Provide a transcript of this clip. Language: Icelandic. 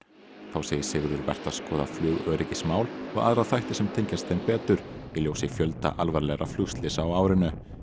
þá segir Sigurður vert að skoða flugöryggismál og aðra þætti sem tengjast þeim betur í ljósi fjölda alvarlegra flugslysa á árinu